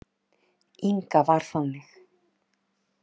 Inga var þannig.